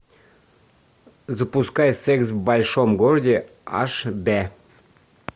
запускай секс в большом городе аш дэ